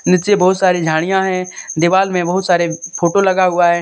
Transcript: नीचे बहुत सारी झाड़ियां है दीवार में बहुत सारे फोटो लगा हुआ है।